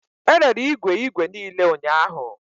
E rere igwe igwe niile ụnyahụ